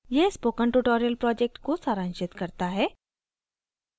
यह spoken tutorial project को सारांशित करता है